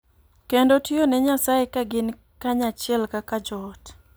Kendo tiyo ne Nyasaye ka gin kanyachiel kaka joot.